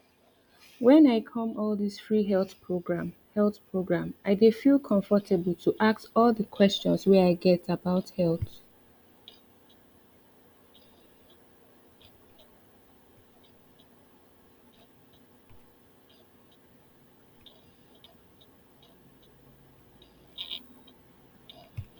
when i come all this free health program health program i dey feel comfortable to ask all the questions wey i get about health